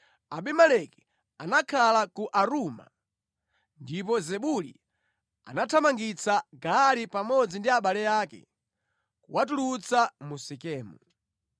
Abimeleki anakhala ku Aruma, ndipo Zebuli anathamangitsa Gaali pamodzi ndi abale ake, kuwatulutsa mu Sekemu.